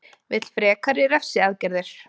Vill frekari refsiaðgerðir